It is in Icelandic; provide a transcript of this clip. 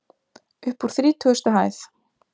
Uppúr þrítugustu hæð.